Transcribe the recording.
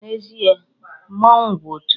N'ezie, mmanwụ bụ òtù